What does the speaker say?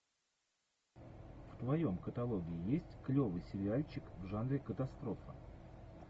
в твоем каталоге есть клевый сериальчик в жанре катастрофа